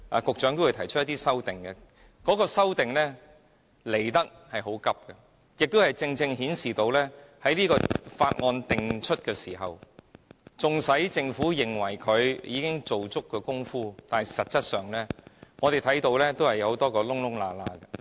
局長稍後會提出修正案，但修正案提得很倉卒，這正正顯示出，在《條例草案》訂出後，即使政府認為已做足工夫，但實際上，我們仍發現很多漏洞。